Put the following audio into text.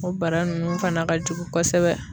O bara nunnu fana ka jugu kosɛbɛ.